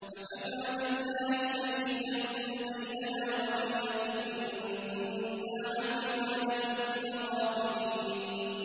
فَكَفَىٰ بِاللَّهِ شَهِيدًا بَيْنَنَا وَبَيْنَكُمْ إِن كُنَّا عَنْ عِبَادَتِكُمْ لَغَافِلِينَ